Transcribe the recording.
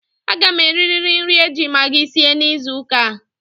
A ga m eririri nri e ji magi sie n'izuuka a.